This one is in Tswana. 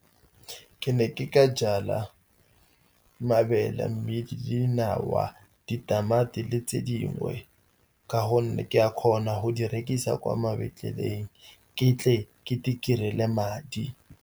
Ke ne ke ka jala mabele, mmidi, dinawa, ditamati le tse dingwe, ka gonne ke a kgona go di rekisa kwa mabentleleng, ke tle ke itirere madi.